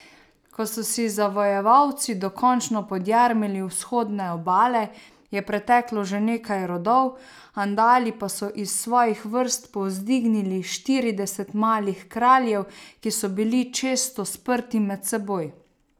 Ko so si zavojevalci dokončno podjarmili vzhodne obale, je preteklo že nekaj rodov, Andali pa so iz svojih vrst povzdignili štirideset malih kraljev, ki so bili često sprti med seboj.